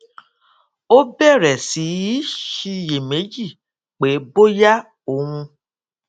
ó bèrè sí í ṣiyèméjì pé bóyá òun